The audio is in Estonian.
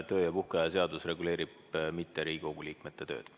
Töö- ja puhkeaja seadus ei reguleeri Riigikogu liikmete tööd.